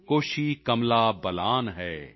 ਕੋਸ਼ੀ ਕਮਲਾ ਬਲਾਨ ਹੈ